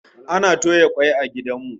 Ana toya waina a gidan mu